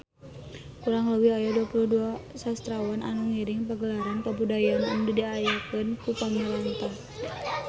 Kurang leuwih aya 22 sastrawan anu ngiring Pagelaran Kabudayaan anu diayakeun ku pamarentah